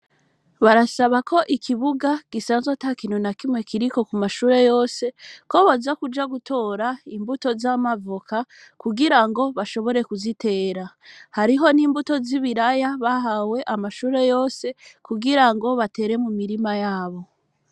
Barasaba ko ikibuga gisanzwe ata kinuna kimwe kiriko ku mashure yose ko boza kuja gutora imbuto z'amavoka kugira ngo bashobore kuzitera hariho n'imbuto z'i bilaya bahawe amashure yose kugira ngo batere mu mirima yabo.